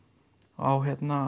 á